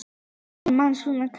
Það gefur manni svona. kraft.